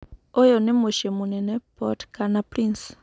ũyu ni mũciĩ mũnene Port-kana-Prince.